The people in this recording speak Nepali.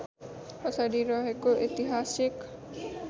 पछाडि रहेको ऐतिहासिक